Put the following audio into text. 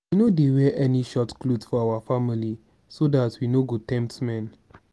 we no dey wear any tight cloth for our family so dat we no go tempt men